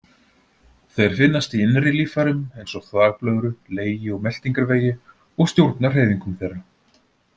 Þeir finnast í innri líffærum, eins og þvagblöðru, legi og meltingarvegi, og stjórna hreyfingum þeirra.